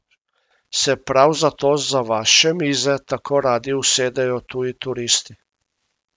Se prav zato za vaše mize tako radi usedejo tuji turisti?